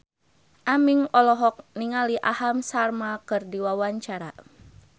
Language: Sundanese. Aming olohok ningali Aham Sharma keur diwawancara